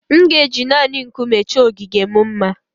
M ga-eji naanị Nkume chọọ ogige m mma